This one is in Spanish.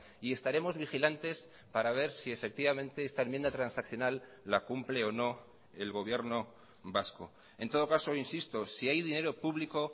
y estaremos vigilantes para ver si efectivamente esta enmienda transaccional la cumple o no el gobierno vasco en todo caso insisto si hay dinero público